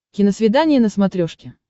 киносвидание на смотрешке